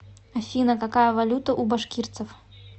афина какая валюта у башкирцев